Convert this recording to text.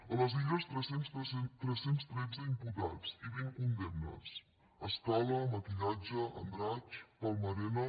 a les illes tres cents i tretze imputats i vint condemnes scala maquillatge andratx palma arena